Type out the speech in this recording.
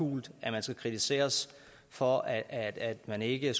hult at man skal kritiseres for at at man ikke